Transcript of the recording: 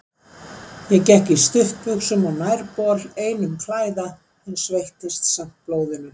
Ég gekk í stuttbuxum og nærbol einum klæða, en sveittist samt blóðinu.